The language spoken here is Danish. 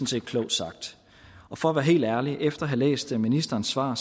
set klogt sagt for at være helt ærlig efter at have læst ministerens svar